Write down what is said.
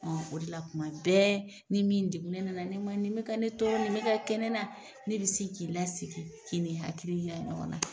O de la kuma bɛɛ ni min degunnen na na ne ma nin bɛka ne tɔɔrɔ ni bɛ ka kɛ ne na ne bɛ sin k'i lasegi k'i n'i hakili yira ɲɔgɔn na.